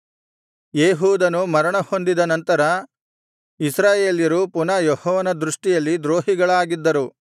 ಏಹೂದನು ಮರಣಹೊಂದಿದ ನಂತರ ಇಸ್ರಾಯೇಲ್ಯರು ಪುನಃ ಯೆಹೋವನ ದೃಷ್ಟಿಯಲ್ಲಿ ದ್ರೋಹಿಗಳಾಗಿದ್ದರು